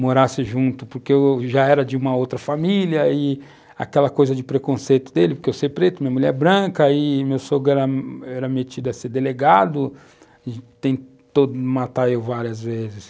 morasse junto, porque eu já era de uma outra família, e aquela coisa de preconceito dele, porque eu sei preto, minha mulher é branca, e meu sogro era era metido a ser delegado, e tentou matar eu várias vezes.